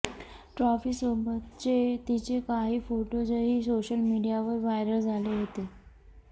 ट्रॉफीसोबतचे तिचे काही फोटोजही सोशल मीडियावर व्हायरल झाले होते